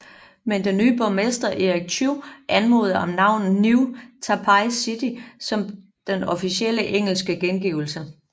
Men den nye borgermester Eric Chu anmodede om navnet New Taipei City som den officielle engelske gengivelse